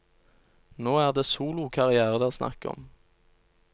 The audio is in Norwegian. Nå er det solokarriere det er snakk om.